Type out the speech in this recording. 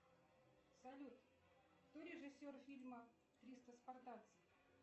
салют кто режиссер фильма триста спартанцев